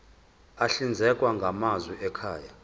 ahlinzekwa ngamanzi ekhaya